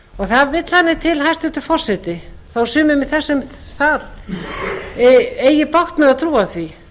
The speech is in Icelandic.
það vill þannig til hæstvirtur forseti þó að sumir í þessum sal eigi bágt með að trúa því